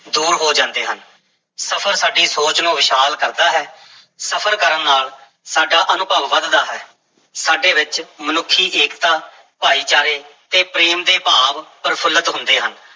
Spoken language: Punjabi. ਦੂਰ ਹੋ ਜਾਂਦੇ ਹਨ, ਸਫ਼ਰ ਸਾਡੀ ਸੋਚ ਨੂੰ ਵਿਸ਼ਾਲ ਕਰਦਾ ਹੈ, ਸਫ਼ਰ ਕਰਨ ਨਾਲ ਸਾਡਾ ਅਨੁਭਵ ਵਧਦਾ ਹੈ, ਸਾਡੇ ਵਿੱਚ ਮਨੁੱਖੀ ਏਕਤਾ, ਭਾਈਚਾਰੇ ਤੇ ਪ੍ਰੇਮ ਦੇ ਭਾਵ ਪ੍ਰਫੁੱਲਤ ਹੁੰਦੇ ਹਨ।